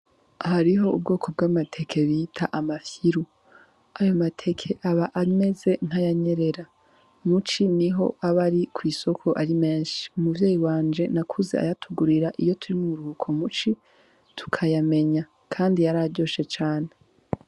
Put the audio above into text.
Hariho ubwoko bw'amateke bita amafyiru ayo mateke aba ameze ntayanyerera muci ni ho abe ari kw'isoko ari menshi umuvyeyi wanje nakuze ayatugurira iyo turi mu umruhuko muci tukayamenya, kandi yar aryoshe cane.